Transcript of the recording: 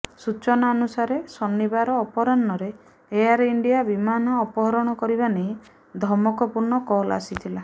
ସୂଚନା ଅନୁସାରେ ଶନିବାର ଅପରାହ୍ଣରେ ଏୟାର ଇଣ୍ଡିଆ ବିମାନ ଅପହରଣ କରିବା ନେଇ ଧମକପୂର୍ଣ୍ଣ କଲ ଆସିଥିଲା